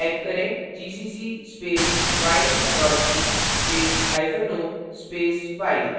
type करें gcc space while dot c space hyphen o space while